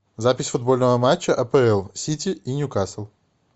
запись футбольного матча апл сити и ньюкасл